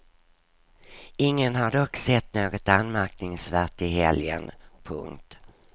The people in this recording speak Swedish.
Ingen har dock sett något anmärkningsvärt i helgen. punkt